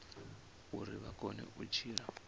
uri vha kone u tshila